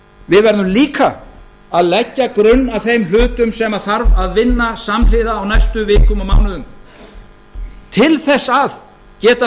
við verðum líka að leggja grunn að þeim hlutum sem þarf að vinna samhliða á næstu vikum og mánuðum til þess að geta